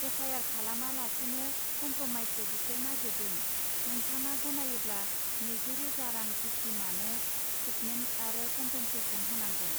F I R खालामा लासिनो कमप्रमाइसो बिसोर नागरिदों; नोंथाङा गनायोब्ला नैजि रोजा रां भिक्तिमानो थ्रिथमेन्थ आरो कमपेनसेसन होनांगोन।